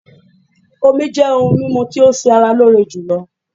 Omí jẹ́ òhún mímú tí o ṣé ara lóore jùlọ.